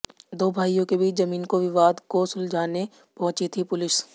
दो भाईयों के बीच जमीन को विवाद को सुलझाने पहुंची थी पुलिस